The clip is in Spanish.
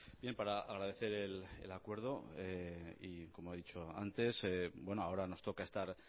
para agradecer el acuerdo y como he dicho antes ahora nos toca estar